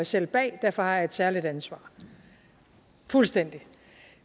selv bag og derfor har jeg et særligt ansvar fuldstændig